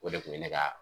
O de kun ye ne ka